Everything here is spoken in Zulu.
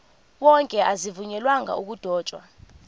wonke azivunyelwanga ukudotshwa